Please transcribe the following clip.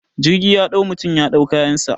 Jirgi ya dau mutum ya dau kayansa